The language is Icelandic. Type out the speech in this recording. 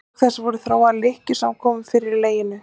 Auk þess voru þróaðar lykkjur sem var komið fyrir í leginu.